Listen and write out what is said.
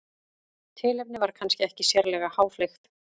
tilefnið var kannski ekki sérlega háfleygt